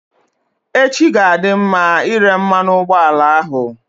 Echi ga-adị mma ire mmanụ ụgbọala ahụ.